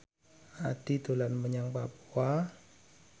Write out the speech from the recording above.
Addie dolan menyang Papua